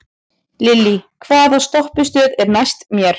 Lillý, hvaða stoppistöð er næst mér?